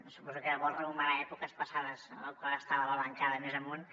suposo que vol rememorar èpoques passades quan estava a la bancada més amunt